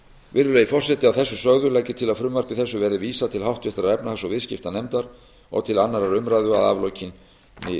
virðulegi forseti að þessu sögðu legg ég til að frumvarpi þessu verði vísað til háttvirtrar efnahags og viðskiptanefndar og til annarrar umræðu að aflokinni